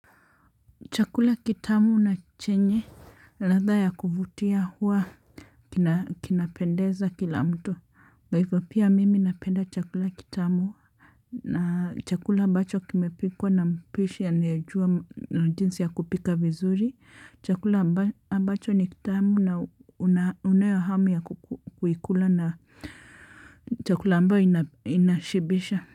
Chakula kitamu na chenye, ladha ya kuvutia huwa, kinapendeza kila mtu. Kwa hivo pia mimi napenda chakula kitamu na chakula ambacho kimepikwa na mpishi anayejua jinsi ya kupika vizuri. Chakula ambacho ni kitamu na unayo hamu ya kuikula na chakula ambayo inashibisha.